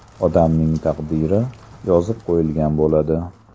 Odamning taqdiri yozib qo‘yilgan bo‘ladi.